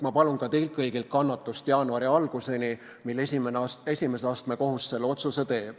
Ma palun ka teilt kõigilt kannatust jaanuari alguseni, mis ajaks esimese astme kohus teeb otsuse.